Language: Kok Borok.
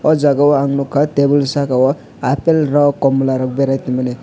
o jaga ang nogka tebol saka o apple rok komola rok berai tongmani.